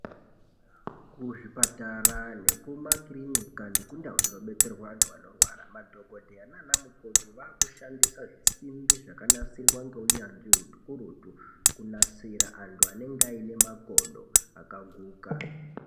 Kuzvipatara nekumakirinika nekundau dzinodetserwa anhu anorwara madhokodheya nanamukoti vakushandisa zvisimbi zvakanasirwa ngeunyanzvi ukurutu kunasira anhu anenge ane makodo akaguka.